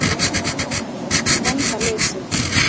sagði hann í grandaleysi.